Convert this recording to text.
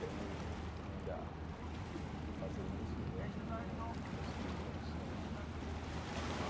Tenho ainda que fazer isso, e eu acho que não consegui condições ainda mas.